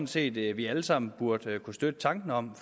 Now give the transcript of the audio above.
set at vi alle sammen burde kunne støtte tanken om